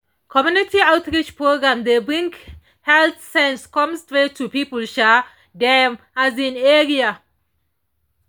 community outreach programs dey bring health sense come straight to people um dem um area